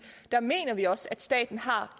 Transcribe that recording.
mener vi også at staten har